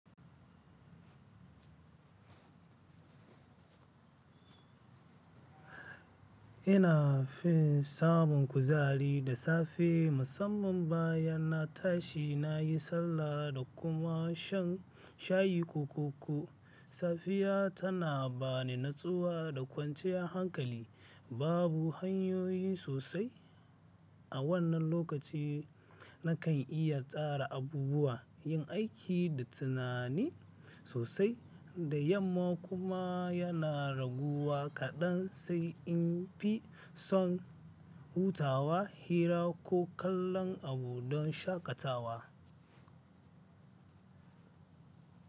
Ina fin samun kuzari da safe musamman bayan na tashi na yi sallah da kuma shan shayi ko koko. Safiya tana ba ni natsuwa da kwanciyar hankali. Babu hanyoyi sosai a wannan lokaci na kan iya tsara abubuwa, yin aiki da tunani sosai da yamma kuma yana raguwa kaɗan sai in fi son hutawa, hira ko kallon abu don shakatawa.